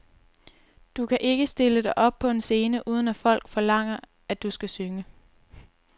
Du kan ikke stille dig op på en scene, uden at folk forlanger, at du skal synge.